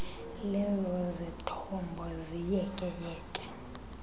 lezo zithombo ziyekeyeke